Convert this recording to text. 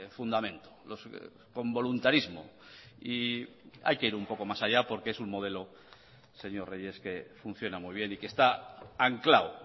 fundamento con voluntarismo y hay que ir un poco más allá porque es un modelo señor reyes que funciona muy bien y que está anclado